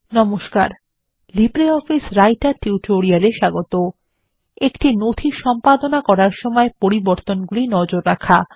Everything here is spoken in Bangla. নমস্কার লিব্রিঅফিস রাইটার টিউটোরিয়াল এ স্বাগত একটি নথি সম্পাদনা করার সময় পরিবর্তনগুলি নজর রাখা